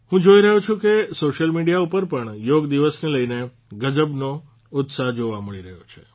હું જોઇ રહ્યો છું કે સોશ્યલ મિડિયા ઉપર પણ યોગ દિવસને લઇને ગજબનો ઉત્સાહ જોવા મળી રહ્યો છે